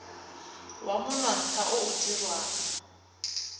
wa monontsha o o dirwang